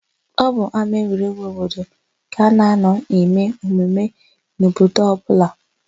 Ọ bụ n'ámáegwuregwu obodo ka a na-anọ eme emume n'obodo ọbụla.